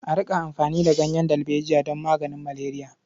A riƙa amfani da ganyen dalbejiya don maganin maleriya.